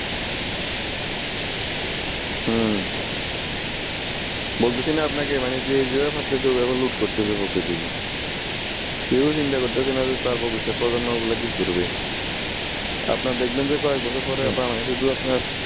হুম বলতেসি না আপনাকে যে যেভাবে পারতেছে অইভাবে লুট করতেসে প্রকৃতিকে কেউই চিন্তা করতেসে না যে তাঁর ভবিষ্যৎ প্রজন্মগুলা কি করবে আপনার দেখবেন যে কয়েকবছর পরে বাংলাদেশের মধ্যে আপনার